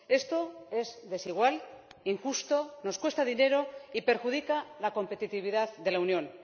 Esto es desigual, injusto, nos cuesta dinero y perjudica la competitividad de la Unión.